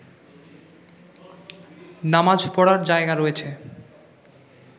নামাজ পড়ার জায়গা রয়েছে